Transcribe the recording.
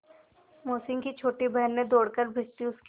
मोहसिन की छोटी बहन ने दौड़कर भिश्ती उसके